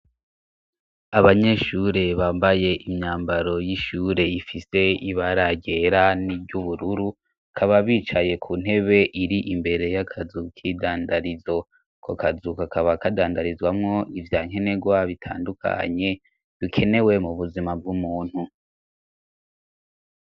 Abanyeshure bambaye imyambaro y'ishure ifise ibara ryera n'iry'ubururu bakaba bicaye ku ntebe iri imbere y'akazu k'idandarizo ako kazu kakaba kadandarizwamo ivya nkenegwa bitandukanye bikenewe mu buzima bw'umuntu.